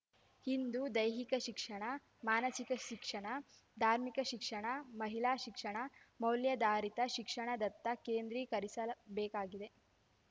ಇಂದು ದೈಹಿಕ ಶಿಕ್ಷಣ ಮಾನಸಿಕ ಶಿಕ್ಷಣ ಧಾರ್ಮಿಕ ಶಿಕ್ಷಣ ಮಹಿಳಾ ಶಿಕ್ಷಣ ಮೌಲ್ಯಾಧಾರಿತ ಶಿಕ್ಷಣದತ್ತ ಕೇಂದ್ರೀಕರಿಸಬೇಕಾಗಿದೆ